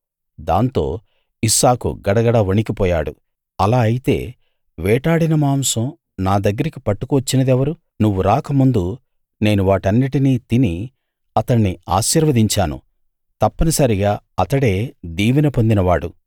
దాంతో ఇస్సాకు గడగడ వణికిపోయాడు అలా అయితే వేటాడిన మాంసం నా దగ్గరికి పట్టుకు వచ్చినదెవరు నువ్వు రాకముందు నేను వాటన్నిటినీ తిని అతణ్ణి ఆశీర్వదించాను తప్పనిసరిగా అతడే దీవెన పొందినవాడు